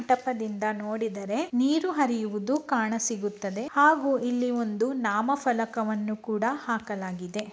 ಟಪದಿಂದ ನೋಡಿದರೆ ನೀರು ಹರಿಯುವುದು ಕಾಣಸಿಗುತ್ತದೆ ಹಾಗು ಇಲ್ಲಿ ಒಂದು ನಾಮ ಫಲಕವನ್ನು ಕೂಡ ಹಾಕಲಾಗಿದೆ.